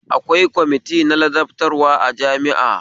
Akwai kwamiti na ladabtarwa a jami'a